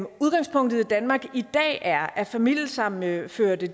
udgangspunktet i danmark i dag er at familiesammenførte